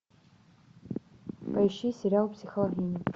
поищи сериал психологини